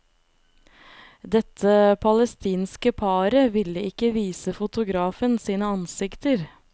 Dette palestinske paret ville ikke vise fotografen sine ansikter.